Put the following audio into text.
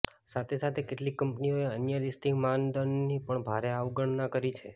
સાથે સાથે કેટલીક કંપનીઓએ અન્ય લિસ્ટિંગ માનદંડની પણ ભારે અવગણના કરી છે